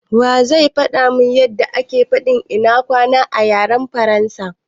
Wa zai faɗa mun yanda ake fadin " ina kwana" a yaren Faransa?